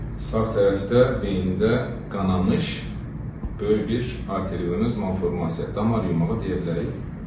Sağ tərəfdə beynində qanamış böyük bir arterioz malformasiya, damar yumağı deyə bilərik.